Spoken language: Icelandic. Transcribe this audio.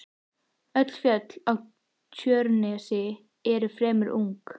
Öll fjöll á Tjörnesi eru því fremur ung.